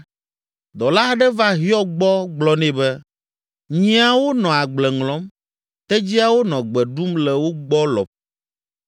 dɔla aɖe va Hiob gbɔ gblɔ nɛ be, “Nyiawo nɔ agble ŋlɔm, tedziawo nɔ gbe ɖum le wo gbɔ lɔƒo,